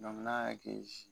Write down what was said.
n'a y'a kɛ